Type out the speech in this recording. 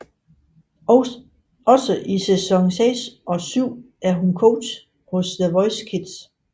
Også i sæson 6 og 7 er hun coach hos The Voice Kids